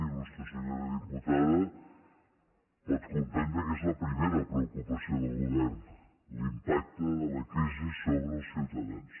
il·lustre senyora dipu·tada pot comprendre que és la primera preocupació del govern l’impacte de la crisi sobre els ciutadans